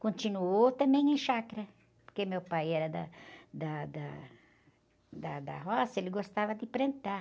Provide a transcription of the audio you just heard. Continuou também em chácara, porque meu pai era da, da, da, da, da roça, ele gostava de plantar.